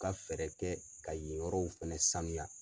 ka fɛɛrɛ kɛ ka yen yɔrɔw fɛnɛ sanuya.